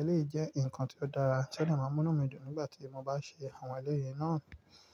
Eléyìí jẹ́ nǹkan tí ó dára tí ó dè máa n mú nu mi dùn nígbà tí mo bá ṣe àwọn eléyìí náà.